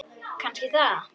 Kannski það.